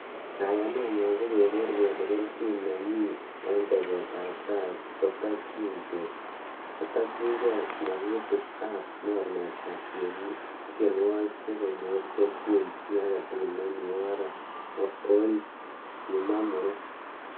"Kayanenyon ko keger kele kelchin nemi en teset tab tai kotokyin gee magutik ab mornetab tienwogik so konyor kelchi chi agetugul nemi orit," Kimwa muren